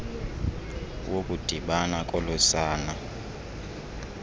wokudibana kolo sana